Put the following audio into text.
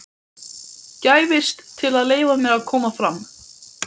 gæfist til að leyfa mér að koma fram.